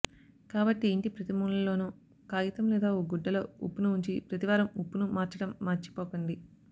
కాబట్టి ఇంటి ప్రతిమూలలోనూ కాగితం లేదా ఓ గుడ్డలో ఉప్పును ఉంచి ప్రతి వారం ఉప్పును మార్చడం మర్చిపోకండి